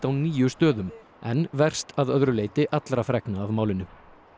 á níu stöðum en verst að öðru leyti allra fregna af málinu